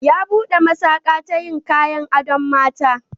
Ya buɗe masaƙa ta yin kayan adon mata.